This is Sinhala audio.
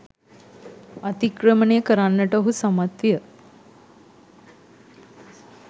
අතික්‍රමණය කරන්නට ඔහු සමත් විය